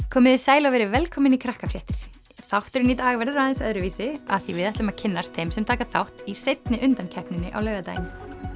komið þið sæl og verið velkomin í þátturinn í dag verður aðeins öðruvísi af því að við ætlum að kynnast þeim sem taka þátt í seinni undankeppninni á laugardaginn